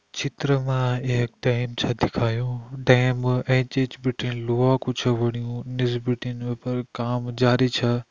चित्र मा एक डैम छा दिखायुं डैम एंच-एंच बिटिन लोहा कू च छ बणयुं निस बिटिन वे पर काम जारी छ।